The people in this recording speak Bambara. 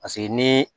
Paseke ni